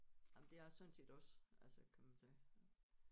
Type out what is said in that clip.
Jamen det jeg sådan set også altså kan man sige